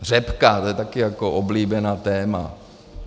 Řepka, to je taky jako oblíbené téma.